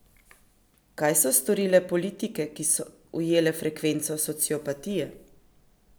Kaj so storile politike, ki so ujele frekvenco sociopatije?